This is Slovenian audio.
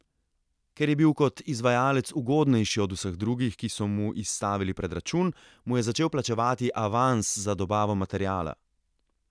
Ker je bil kot izvajalec ugodnejši od vseh drugih, ki so mu izstavili predračun, mu je začel plačevati avans za dobavo materiala.